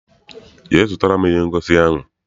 Jee zụtara m ihe ngosi ahụ!